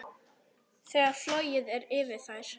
Þegar flogið er yfir þær.